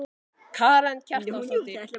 Karen Kjartansdóttir: Hefurðu trú á honum?